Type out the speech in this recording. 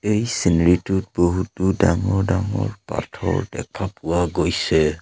এই ছীনেৰিটোত বহুতো ডাঙৰ ডাঙৰ পাথৰ দেখা পোৱা গৈছে।